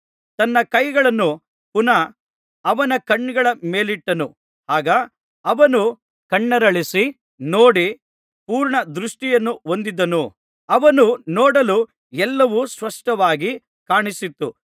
ತನ್ನ ಕೈಗಳನ್ನು ಪುನಃ ಅವನ ಕಣ್ಣುಗಳ ಮೇಲಿಟ್ಟನು ಆಗ ಅವನು ಕಣ್ಣರಳಿಸಿ ನೋಡಿ ಪೂರ್ಣ ದೃಷ್ಟಿಯನ್ನು ಹೊಂದಿದನು ಅವನು ನೋಡಲು ಎಲ್ಲವೂ ಸ್ಪಷ್ಟವಾಗಿ ಕಾಣಿಸಿತು